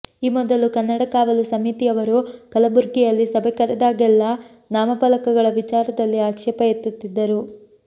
ಈ ಮೊದಲು ಕನ್ನಡ ಕಾವಲು ಸಮಿತಿಯವರು ಕಲಬುರಗಿಯಲ್ಲಿ ಸಭೆ ಕರೆದಾಗೆಲ್ಲಾ ನಾಮಫಲಕಗಳ ವಿಚಾರದಲ್ಲಿ ಆಕ್ಷೇಪ ಎತ್ತುತ್ತಿದ್ದರು